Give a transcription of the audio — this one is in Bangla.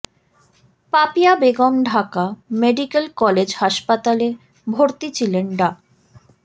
পাপিয়া বেগম ঢাকা মেডিকেল কলেজ হাসপাতালে ভর্তি ছিলেন ডা